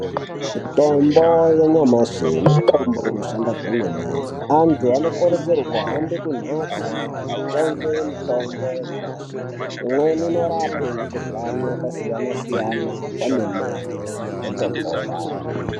Mitombo ya nyamashi mitombo ino shanda kwemwene antu anokurudzirwa kuhambe ku mbatso kuno tenge mitombo ya nyamashi imweni inorape mukuhlani yakasiya siyana kwemene wotopona.